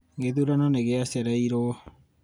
gĩthurano nĩ gĩacereirwo